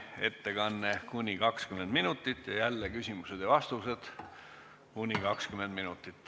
Ettekandeks on aega kuni 20 minutit ja küsimusteks-vastusteks samuti kuni 20 minutit.